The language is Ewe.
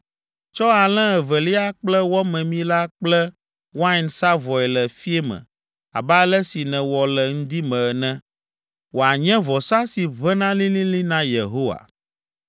Tsɔ alẽ evelia kple wɔ memi la kple wain sa vɔe le fiẽ me abe ale si nèwɔ le ŋdi me ene, wòanye vɔsa si ʋẽna lĩlĩlĩ na Yehowa.